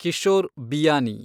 Kishore Vianney